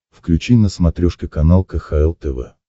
включи на смотрешке канал кхл тв